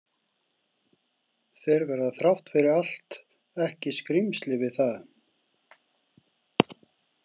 Þeir verði þrátt fyrir allt ekki „skrýmsli“ við það.